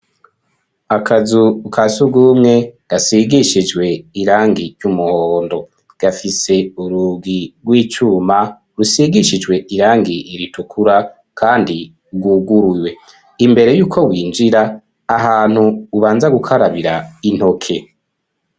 Akazu ka surwumwe gasigishijwe irangi y'umuhhondo; gafise urugi rw'icuma rusigishijwe irangi ritukura kandi rwuguruye. Imbere y'uko winjira ahantu ubanza gukarabira intoke.